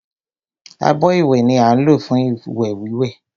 Abọ́ ìwẹ̀ ni á ń lò fún ìwẹ̀ wíwẹ̀